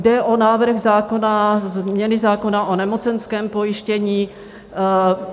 Jde o návrh zákona, změny zákona o nemocenském pojištění.